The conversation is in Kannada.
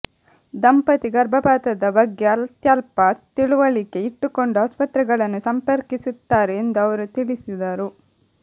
ದಂಪತಿ ಗರ್ಭಪಾತದ ಬಗ್ಗೆ ಅತ್ಯಲ್ಪ ತಿಳಿವಳಿಕೆ ಇಟ್ಟುಕೊಂಡು ಆಸ್ಪತ್ರೆಗಳನ್ನು ಸಂಪರ್ಕಿಸುತ್ತಾರೆ ಎಂದು ಅವರು ತಿಳಿಸಿದರು